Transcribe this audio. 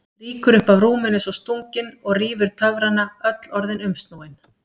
Rýkur upp af rúminu eins og stungin og rýfur töfrana, öll orðin umsnúin.